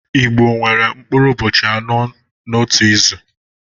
Igbo nwere mkpụrụ ụbọchị anọ n'otu izu